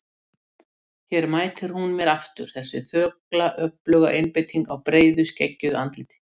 Hér mætir hún mér aftur, þessi þögla öfluga einbeiting á breiðu skeggjuðu andliti.